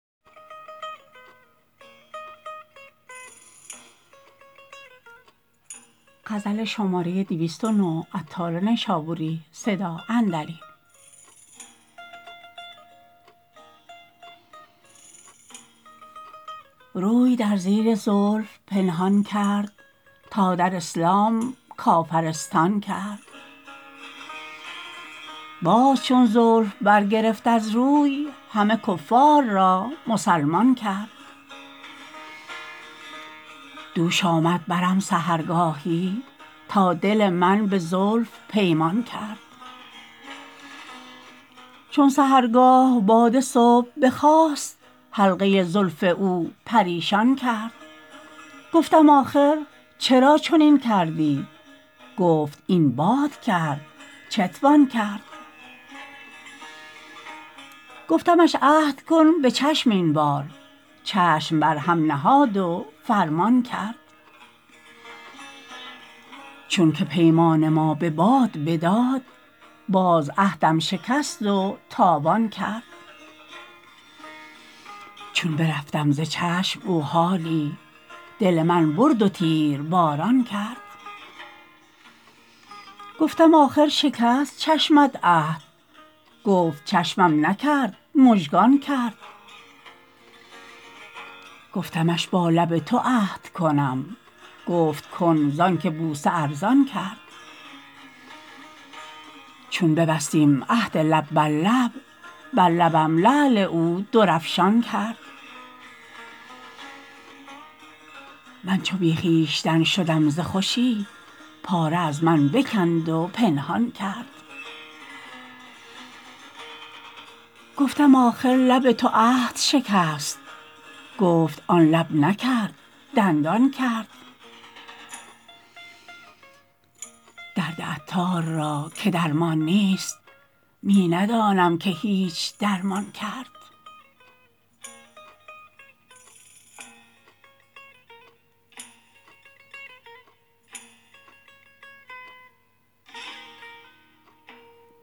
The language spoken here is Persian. روی در زیر زلف پنهان کرد تا در اسلام کافرستان کرد باز چون زلف برگرفت از روی همه کفار را مسلمان کرد دوش آمد برم سحرگاهی تا دل من به زلف پیمان کرد چون سحرگاه باد صبح بخاست حلقه زلف او پریشان کرد گفتم آخر چرا چنین کردی گفت این باد کرد چتوان کرد گفتمش عهد کن به چشم این بار چشم برهم نهاد و فرمان کرد چون که پیمان ما به باد بداد باز عهدم شکست و تاوان کرد چون برفتم ز چشم او حالی دل من برد و تیرباران کرد گفتم آخر شکست چشمت عهد گفت چشمم نکرد مژگان کرد گفتمش با لب تو عهد کنم گفت کن زانکه بوسه ارزان کرد چون ببستیم عهد لب بر لب بر لبم لعل او درافشان کرد من چو بی خویشتن شدم ز خوشی پاره از من بکند و پنهان کرد گفتم آخر لب تو عهد شکست گفت آن لب نکرد دندان کرد درد عطار را که درمان نیست می ندانم که هیچ درمان کرد